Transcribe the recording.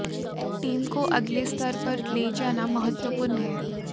team को अगले स्तर पर ले जाना महत्वपूर्ण है